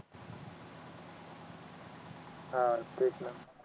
हा तेच न